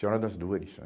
Senhora das Dores, né?